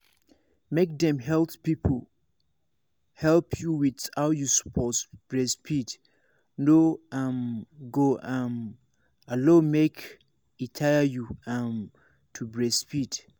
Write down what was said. make dem health people help you with how you suppose breastfeed no um go um allow make e tire you um to breastfeed.